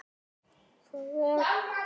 Hann reisir sig upp.